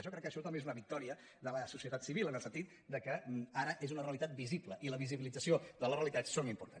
jo crec que això també és una victòria de la societat civil en el sentit que ara és una realitat visible i la visibilització de les realitats és important